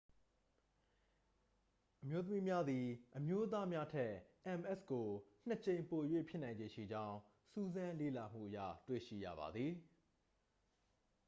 အမျိုးသမီးများသည် အမျိုးသားများထက် ms ကို နှစ် ကြိမ်ပို၍ဖြစ်နိုင်ခြေရှိကြောင်း စူးစမ်းလေ့လာမှုအရ တွေ့ရှိရပါသည်